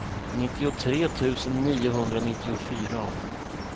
nittiotre tusen niohundranittiofyra